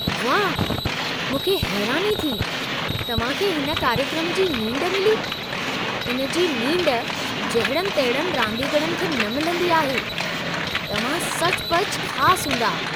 वाह! मूंखे हैरानी थी। तव्हां खे हिन कार्यक्रम जी नींड मिली! इन जी नींड जहिड़नि-तहिड़नि रांदीगरनि खे न मिलंदी आहे। तव्हां सचुपचु ख़ासि हूंदा।